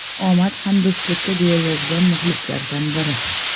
Omad hamdo‘stlikka”, deya yozgan muxlislardan biri.